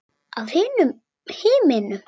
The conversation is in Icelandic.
Af himnum?